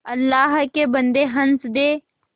अल्लाह के बन्दे हंस दे